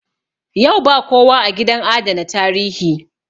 Yau ba kowa a gidan adana tarihi